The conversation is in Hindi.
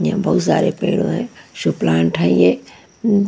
ये बहुत सारे पेड़ हुये है शू प्लांट है ये--